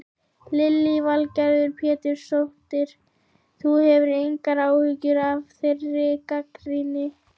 Lillý Valgerður Pétursdóttir: Þú hefur engar áhyggjur af þeirri gagnrýni?